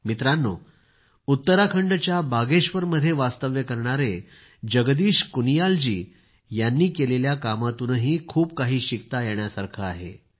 मित्रांनो उत्तराखंडच्या बागेश्वरमध्ये वास्तव्य करणारे जगदीश कुनियाल जी यांनी केलेल्या कामातूनही खूप काही शिकता येणार आहे